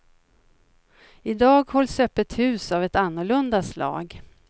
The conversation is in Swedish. I dag hålls öppet hus av ett annorlunda slag.